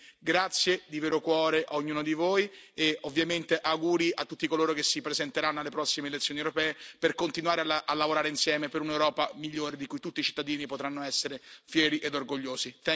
Quindi grazie di vero cuore a ognuno di voi e ovviamente auguri a tutti coloro che si presenteranno alle prossime elezioni europee per continuare a lavorare insieme per un'Europa migliore di cui tutti i cittadini potranno essere fieri ed orgogliosi.